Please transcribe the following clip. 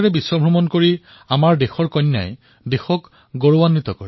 দেশৰ কন্যাই সাগৰ পৰিক্ৰমাৰে সমগ্ৰ বিশ্ব ভ্ৰমণ কৰি দেশক গৌৰৱান্বিত কৰিলে